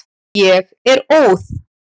Ég er óð.